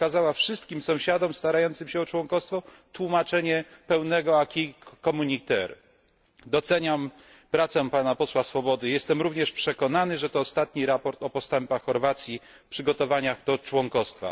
przekazała wszystkim sąsiadom starającym się o członkostwo tłumaczenie pełnego Doceniam pracę pana posła Swobody, jestem również przekonany, że to ostatni raport o postępach Chorwacji w przygotowaniach do członkostwa.